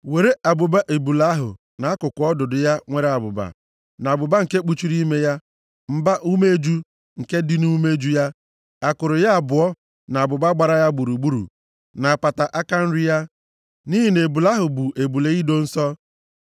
“Were abụba ebule ahụ, na akụkụ ọdụdụ ya nwere abụba, na abụba nke kpuchiri ime ya, mba-umeju nke dị nʼumeju ya, akụrụ ya abụọ na abụba gbara ha gburugburu, na apata aka nri ya (nʼihi na ebule ahụ bụ ebule ido nsọ),